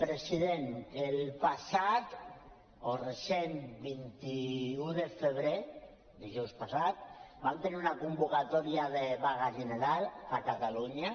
president el passat o recent vint un de febrer dijous passat vam tenir una convocatòria de vaga general a catalunya